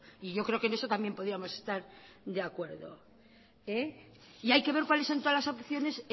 y yo creo que en eso también podíamos estar de acuerdo y hay que ver cuáles son todas las opciones